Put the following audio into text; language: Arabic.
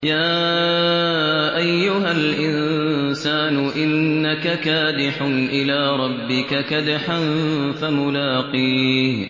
يَا أَيُّهَا الْإِنسَانُ إِنَّكَ كَادِحٌ إِلَىٰ رَبِّكَ كَدْحًا فَمُلَاقِيهِ